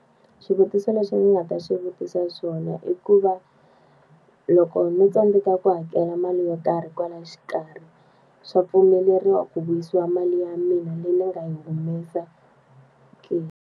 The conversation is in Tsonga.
Swivutiso leswi ni nga ta swi vutisa swona i ku va, loko ni tsandzeka ku hakela mali yo karhi kwalaya xikarhi, swa pfumeleriwa ku vuyisiwa mali ya mina leyi ni nga yi humesa ke?